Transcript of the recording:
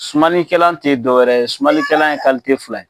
Sumanikɛla tɛ dɔ wɛrɛ ye, sumanlikɛla ye kalite fila ye.